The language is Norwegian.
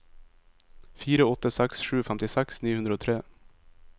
fire åtte seks sju femtiseks ni hundre og tre